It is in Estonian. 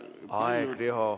Aeg, Riho!